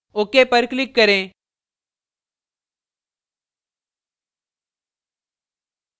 ok पर click करें